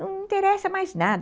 Não interessa mais nada.